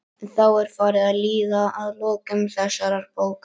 Þá er farið að líða að lokum þessarar bókar.